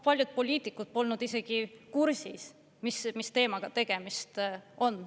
Paljud poliitikud polnud isegi kursis, mis teemaga tegemist on.